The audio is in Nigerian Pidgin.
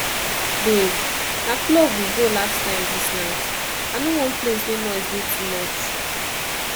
babe na club we go last time dis night i no want place wey noise dey too much